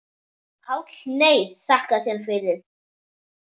PÁLL: Nei, þakka þér fyrir.